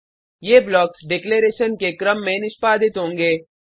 ये blocks declaration के क्रम में निष्पादित होंगे